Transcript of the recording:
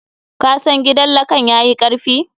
Ka sa gidan lakan yayi karfi.